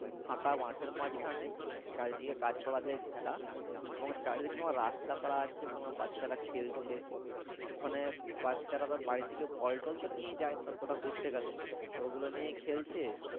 ফাঁকা মাঠের মাঝখানে চারিদিকে গাছপালা দিয়ে ঘেরা এবং চারিদিকে তোমার রাস্তা করা আছে সে ওখানে তোমার বাচ্চারা খেলছে ওখানে বাচ্চারা তোমার বাড়ি থেকে বল টল তো নিয়ে যায় কোথাও ঘুরতে গেলে ওগুলো নিয়েই খেলছে